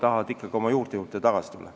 Nad tahavad ikkagi oma juurte juurde tagasi tulla.